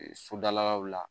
Sodalaw la